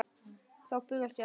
Þá bugast hann.